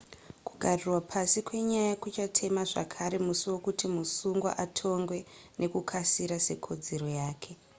kugarirwa pasi kwenyaya kuchatema zvakare musi wekuti musungwa atongwe nekukasira sekodzero yake